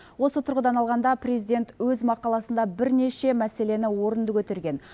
осы тұрғыдан алғанда президент өз мақаласында бірнеше мәселені орынды көтерген